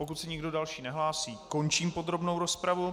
Pokud se nikdo další nehlásí, končím podrobnou rozpravu.